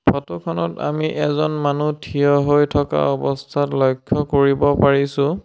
Photo খনত আমি এজন মানুহ থিয় হৈ থকা অৱস্থাত লক্ষ্য কৰিব পাৰিছোঁ।